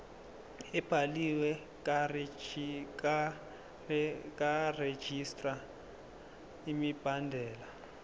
ebhaliwe karegistrar imibandela